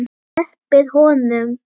SLEPPIÐ HONUM!